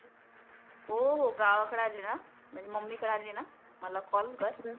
हो हो गावाकडे आली ना म्हणजे मम्मी कडे आली ना मला कॉल कर.